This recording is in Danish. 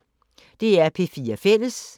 DR P4 Fælles